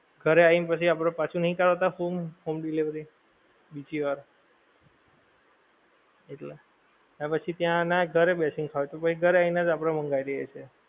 ઘરે આઈ ને પછી આપડે પાછું નહિ કરાવતા home, home delivery બીજી વાર એટલે. પછી ત્યાં નાં ઘરે બેસી ને ખાવું હોય તો ઘરે આઈ ને જ આપડે માંગવી લઈએ છીએ.